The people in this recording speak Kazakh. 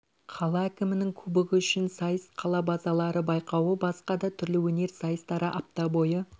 қала әкімінің кубогы үшін сайыс қала базарлары байқауы басқа да түрлі өнер сайыстары апта бойы